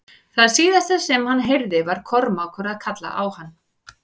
Það síðasta sem hann heyrði var Kormákur að kalla á hann.